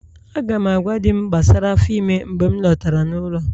Aga m agwa Di'm gbasara afọ ime mgbe m lọtara n'ụlọ